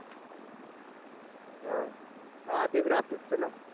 अं हां ते graphic च ना